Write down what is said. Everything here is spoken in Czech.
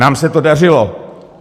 Nám se to dařilo.